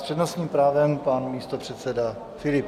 S přednostním právem pan místopředseda Filip.